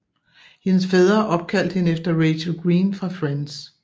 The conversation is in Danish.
Hendes fædre opkaldt hende efter Rachel Green fra Friends